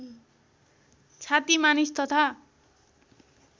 छाती मानिस तथा